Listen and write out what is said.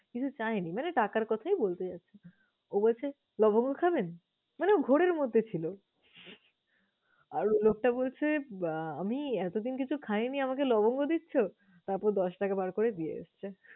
কিছু চায়নি মানে টাকার কথাই বলতে চাচ্ছে। ও বলছে, লবঙ্গ খাবেন? মানে ও ঘোরের মধ্যে ছিল। আর ওই লোকটা বলছে, আমি এতদিন কিছু খাইনি, আমাকে লবঙ্গ দিচ্ছ? তারপর দশ টাকা বার করে দিয়ে আসছে।